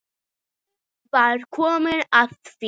Nú var komið að því!